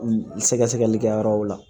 Sɛgɛsɛgɛli kɛ yɔrɔw la